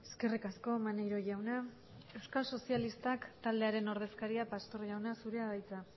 eskerrik asko maneiro jauna euskal sozialistak taldearen ordezkaria pastor jauna zurea da hitza